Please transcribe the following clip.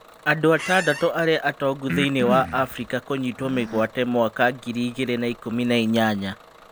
Andũ atandatũ arĩa atongu Thĩinĩ wa Afirika kũnyiitwo mĩgwate mwaka ngiri igĩrĩ na ikũmi na inyanya